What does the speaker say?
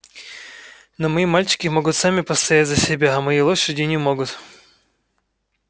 но мои мальчики могут сами постоять за себя а мои лошади не могут